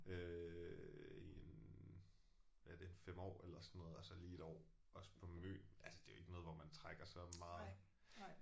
Øh i en er det 5 år eller sådan noget og så lige et år også på Møn altså det er jo ikke noget hvor man trækker så meget